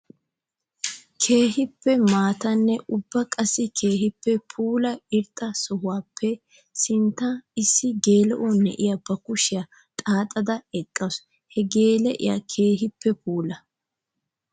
Keehippe maatanne ubba qassi keehippe puula irxxa sohuwappe sinttan issi geela'o na'iya ba kushiya xaxxadda eqqasu. Ha geela'iya keehippe puula.